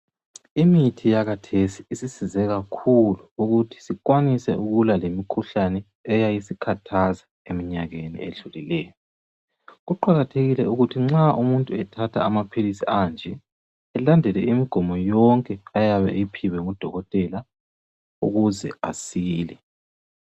Imithi yakathesi isisize kakhulu ukuthi sikwanise ukulwa lemikhuhlane eyabe isikhathaza eminyakeni edlulileyo , kuqakathekile ukuthi umuntu nxa etahatha amaphilisi anje alandele imgomo yonke ayabe eyiphiwe ngudokotela ukuze asile